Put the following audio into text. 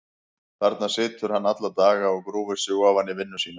Þarna situr hann alla daga og grúfir sig ofan í vinnu sína.